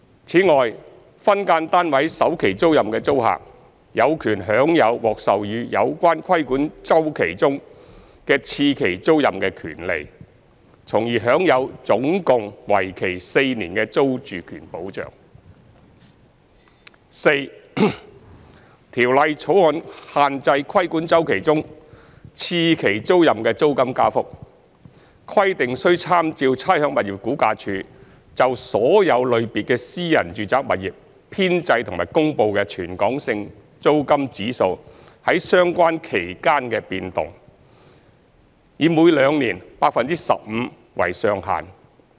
此外，分間單位首期租賃的租客，有權享有獲授予有關規管周期中的次期租賃的權利，從而享有總共為期4年的租住權保障；四《條例草案》限制規管周期中次期租賃的租金加幅，規定須參照差餉物業估價署就所有類別的私人住宅物業編製及公布的全港性租金指數在相關期間的變動，以每兩年 15% 為上限。